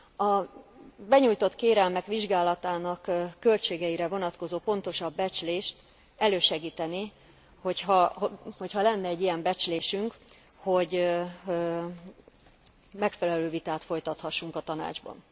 A benyújtott kérelmek vizsgálatának költségeire vonatkozó pontosabb becslést elősegítené, hogyha lenne egy ilyen becslésünk, hogy megfelelő vitát folytathassunk a Tanácsban.